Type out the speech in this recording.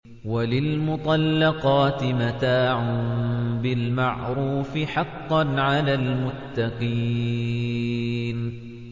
وَلِلْمُطَلَّقَاتِ مَتَاعٌ بِالْمَعْرُوفِ ۖ حَقًّا عَلَى الْمُتَّقِينَ